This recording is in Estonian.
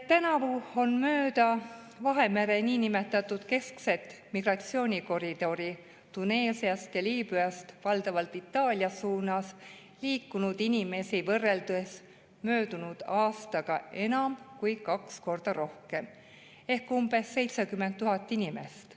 Tänavu on mööda Vahemere niinimetatud keskset migratsioonikoridori Tuneesiast ja Liibüast valdavalt Itaalia suunas liikunud inimesi võrreldes möödunud aastaga enam kui kaks korda rohkem ehk umbes 70 000 inimest.